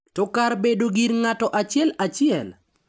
To kar bedo gir ng’ato achiel achiel.